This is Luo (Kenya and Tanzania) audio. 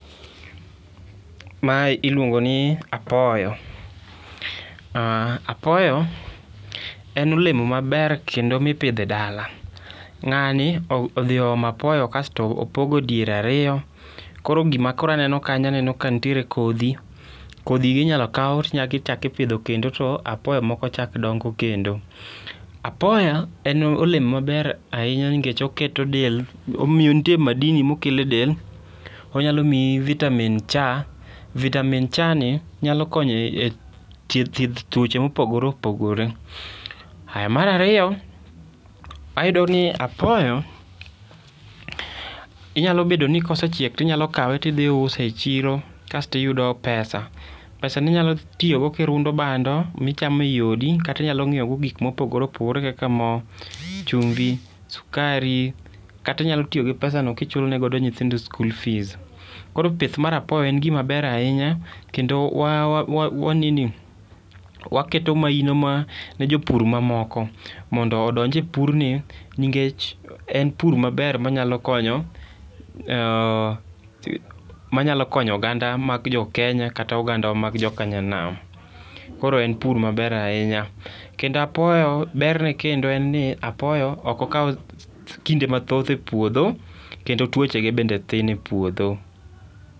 Mae iluongo ni apoyo. Apoyo en olemo maber kendo mipidho e dala. Ng'ani odhi oomo apoyo kasto opogo diere ariyo, koro gima koro aneno kanyo , aneno ka nitiere kodhi. Kodhigi inyalo kaw tinyachak ipidho kendo to apoyo moko chak dongo kendo. Apoyo, en olemo maber ahinya nikech oketo del, nitie madini mokele del. Onyalo miyi vitamin C. Vitamin C ni nyalo konyo e thieth tuoche mopogoreopogore. Mar ariyo, ayudo ni apoyo inyalo bedo ni kosechiek to inyalo kawe to idhi iuse e chiro kasto iyudo pesa. Pesani inyalo tiyogo kirundo bando michamo e odi kata inyalo nyiewo go gik mopogoreopogore kaka moo, chumbi, sukari kata inyalo tiyo gi pesano kichulone godo nyithindo school fees. Koro pith mar apoyo en gima ber ahinya, kendo waketo maino ne jopur mamoko mondo odonj e purni nikech en pur maber manyalo konyo, manyalo konyo oganda mag jokenya kata ogandawa mag jokanyanam. Koro en pur maber ahinya. Kendo apoyo berne kendo en ni apoyo ok okaw kinde mathoth e puotho kendo tuochege bende thin e puotho.